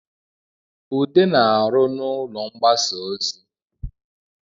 Ude na-arụ n’ụlọ mgbasa ozi